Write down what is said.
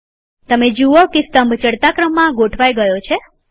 તમે જુઓ કે સ્તંભ ચડતા ક્રમમાં ગોઠવાઈ ગયો છે